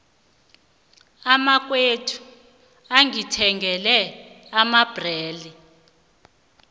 umnakwethu ungithengele amabhlere